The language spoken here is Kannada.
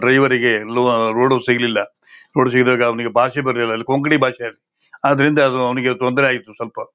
ಡ್ರೈವೇರ್ರಿಗೆ ಎಲ್ಲೂ ರೋಡ್ ಸಿಗಲ್ಲಿಲ್ಲಾ ರೋಡ್ ಸಿಗದಾಗ ಅವನಿಗೆ ಭಾಷೆ ಬರಲಿಲ್ಲಾ ಅಲ್ಲಿ ಕೊಂಕಣಿ ಭಾಷೆ ಆದರಿಂದ ಅವನಿಗೆ ತೊಂದರೆ ಆಯಿತು ಸ್ವಲ್ಪ--